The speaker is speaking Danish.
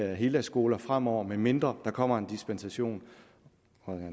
heldagsskole fremover medmindre der kommer en dispensation